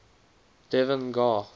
devan gar